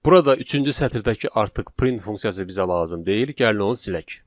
Burada üçüncü sətirdəki artıq print funksiyası bizə lazım deyil, gəlin onu silək.